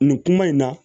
Nin kuma in na